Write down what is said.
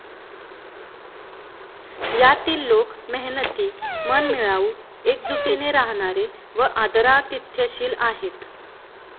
यातील लोक मेहनती मनमिळाऊ, एकजुटीने राहणारे व आदरातिथ्यशील आहेत.